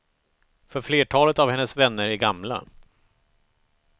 För flertalet av hennes vänner är gamla.